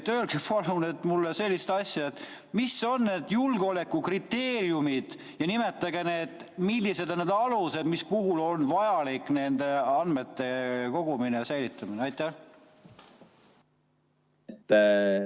Öelge palun mulle, mis on need julgeolekukriteeriumid, ja nimetage, millised on need alused, mille puhul on vajalik nende andmete kogumine ja säilitamine.